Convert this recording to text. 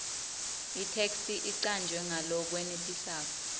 itheksthi icanjwe ngalokwenetisako